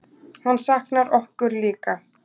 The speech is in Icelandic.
Hann saknar okkur líka.